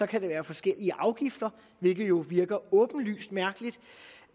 kan det være forskellige afgifter hvilket jo virker åbenlyst mærkeligt